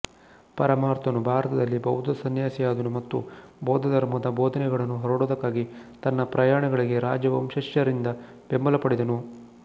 ಪರಮಾರ್ಥನು ಭಾರತದಲ್ಲಿ ಬೌದ್ಧ ಸಂನ್ಯಾಸಿಯಾದನು ಮತ್ತು ಬೌದ್ಧ ಧರ್ಮದ ಬೋಧನೆಗಳನ್ನು ಹರಡುವುದಕ್ಕಾಗಿ ತನ್ನ ಪ್ರಯಾಣಗಳಿಗೆ ರಾಜವಂಶಜರಿಂದ ಬೆಂಬಲ ಪಡೆದನು